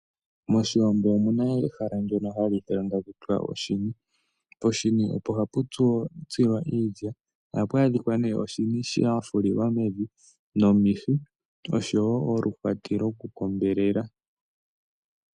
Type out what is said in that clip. Moshiwambo omu na ehala ndyono ha li ithanwa taku tiwa oshini. Poshini opo hapu tsilwa iilya, ohapu adhikwa ne oshini sha fililwa mevi, omihi, osho wo oluhwati lwoku kombelela.